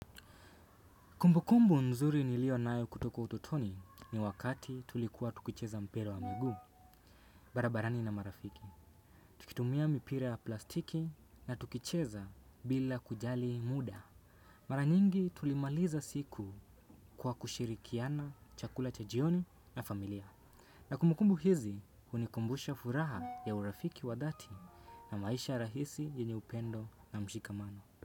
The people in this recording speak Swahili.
Kumbukumbu nzuri nilio naayo kutoka utotoni ni wakati tulikuwa tukicheza mpiraewa miguu. Barabarani na marafiki, tukitumia mipira ya plastiki na tukicheza bila kujali muda. Maranyingi tulimaliza siku kwa kushirikiana, chakula cha jioni na familia. Na kumbukumbu hizi unikumbusha furaha ya urafiki wa dhati na maisha rahisi yenye upendo na mshikamano.